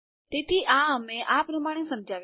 તેથી આ અમે આ પ્રમાણે સમજાવીશું